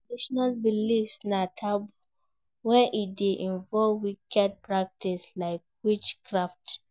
Traditional beliefs na taboo when e de involve wicked practice like witchcraft